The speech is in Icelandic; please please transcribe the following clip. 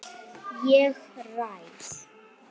Ég ræð.